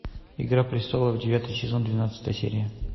игра престолов девятый сезон двенадцатая серия